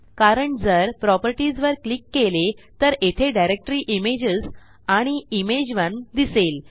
कारण जर प्रॉपर्टीज वर क्लिक केले तर येथे डायरेक्टरी इमेजेस आणि इमेज 1 दिसेल